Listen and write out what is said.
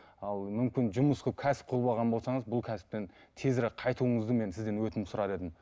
ал мүмкін жұмыс қылып кәсіп қылып алған болсаңыз бұл кәсіптен тезірек қайтуыңызды мен сізден өтініп сұрар едім